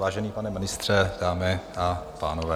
Vážený pane ministře, dámy a pánové.